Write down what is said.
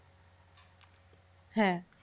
হ্যাঁ।